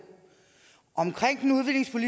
om i